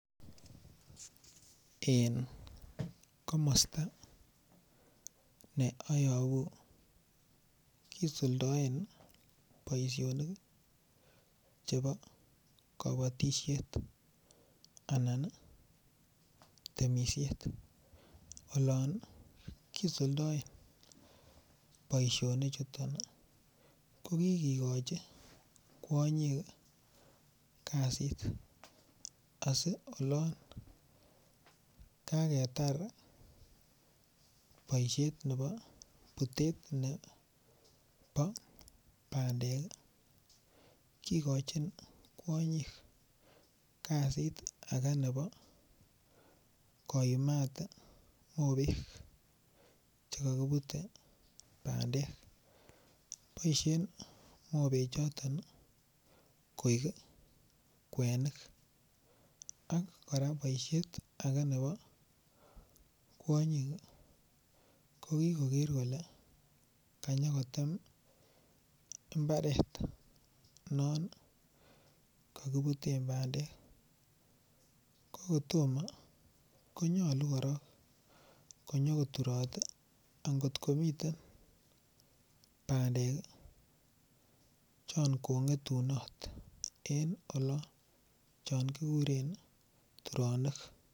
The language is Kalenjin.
En ko ne ayobu kisuldaen boisionik chebo kabatisiet anan temisiet olon kisuldaen boisionichuto ko kigikochi kwonyik kasit asi olon kagetar boisiet nebo Butet nebo bandek kigochin kwonyik kasit age nebo koyumat Che kokebuten bandek boisien mobechoton koik kwenik ak kora boisiet age nebo kwonyik konyo koger kole kanyokotem mbaret non kakibuten bandek ko kotomo ko nyolu konyo koturot angot komiten bandek chon kongetunot en olon chon kiguren turonik